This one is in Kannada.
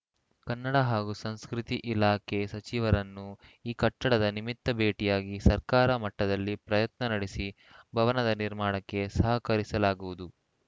ಕನ್ನಡ ಹಾಗೂ ಸಂಸ್ಕೃತಿ ಇಲಾಖೆ ಸಚಿವರನ್ನು ಈ ಕಟ್ಟಡದ ನಿಮಿತ್ತ ಭೇಟಿಯಾಗಿ ಸರ್ಕಾರ ಮಟ್ಟದಲ್ಲಿ ಪ್ರಯತ್ನ ನಡೆಸಿ ಭವನದ ನಿರ್ಮಾಣಕ್ಕೆ ಸಹಕರಿಸಲಾಗುವುದು